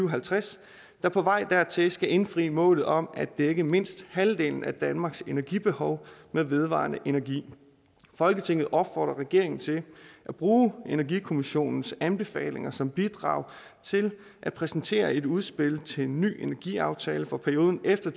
og halvtreds der på vej dertil skal indfri målet om at dække mindst halvdelen af danmarks energibehov med vedvarende energi folketinget opfordrer regeringen til at bruge energikommissionens anbefalinger som bidrag til at præsentere et udspil til en ny energiaftale for perioden efter